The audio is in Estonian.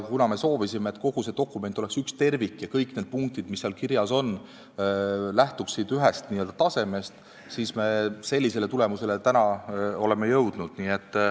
Kuna me soovisime, et kogu see dokument oleks üks tervik ja kõik need punktid, mis seal kirjas on, lähtuksid ühest tasemest, siis me oleme sellisele tulemusele täna jõudnud.